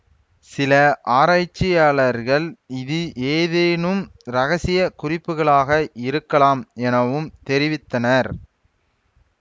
சில ஆராய்ச்சியாளர்கள் இது ஏதேனும் ரகசிய குறிப்புகளாக இருக்கலாம் எனவும் தெரிவித்தனர்